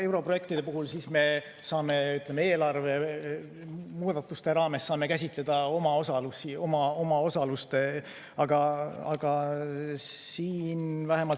Europrojektide puhul me saame eelarve muudatuste raames käsitleda omaosalusi.